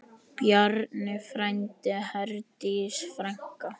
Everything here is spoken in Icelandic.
Bjarni frændi, Herdís frænka.